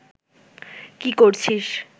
কী করছিস